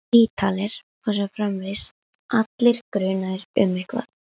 Ítalir. og svo framvegis, allir grunaðir um eitthvað.